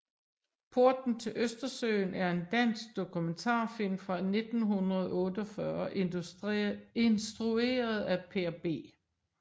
Porten til Østersøen er en dansk dokumentarfilm fra 1948 instrueret af Per B